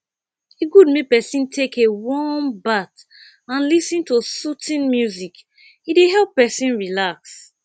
e good make pesin take a warm bath and lis ten to soothing music e dey help pesin relax